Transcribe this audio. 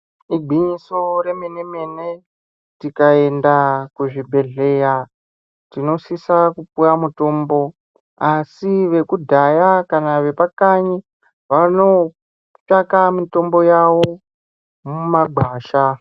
Igwinyiso remene mene, tikaenda kuzvibhedhleya, tinosvika kupuwa mutombo asi vekudhyaya kana ve pakanyi, vanotsvaka mitombo yavo mumagwasha.